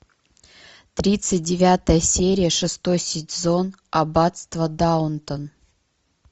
тридцать девятая серия шестой сезон аббатство даунтон